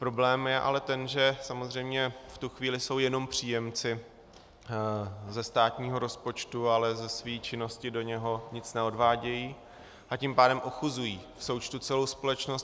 Problém je ale ten, že samozřejmě v tu chvíli jsou jenom příjemci ze státního rozpočtu, ale ze své činnosti do něj nic neodvádějí, a tím pádem ochuzují v součtu celou společnost.